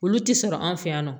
Olu ti sɔrɔ an fɛ yan nɔ